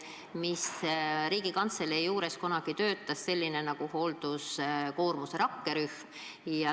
Ma loodan, et te olete välja otsinud ka need materjalid.